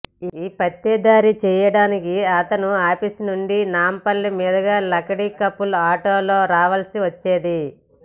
యీ పత్తేదారీ చేయడానికి అతను ఆఫీసునుండి నాంపల్లి మీదుగా లకడీకా పుల్కి ఆటోలో రావల్సి వచ్చేది